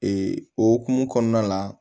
o hokumu kɔnɔna la